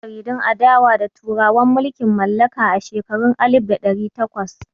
Akwai jaridun adawa da turawan mulkin mallaka a shekarun alif da ɗari takwas.